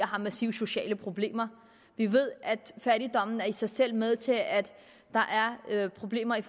har massive sociale problemer vi ved at fattigdommen i sig selv er med til at der er problemer i